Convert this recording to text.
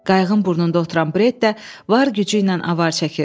Qayığın burnunda oturan Bret də var gücü ilə avar çəkirdi.